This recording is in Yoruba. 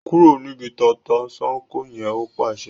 kúrò níbi “tata-n-sánkọ̀” yẹn! Ó pàṣẹ.